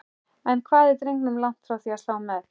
En hvað er drengurinn langt frá því að slá met?